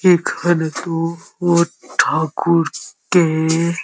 এখানে তো ও ঠাকুর কে এ --